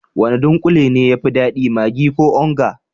Wane dunkule ne ya fi dadi, maggi ko onga?